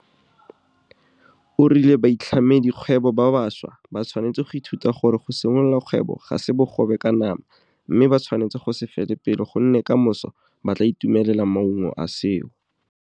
O rile baitlhamedikgwebo ba bašwa ba tshwanetse go ithuta gore go simolola kgwebo ga se bogobe ka nama mme ba tshwanetse go se fele pelo gonne kamoso ba tla itumelela maungo a seo.